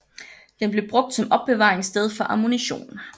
Den blev brugt som opbevaringssted for ammunition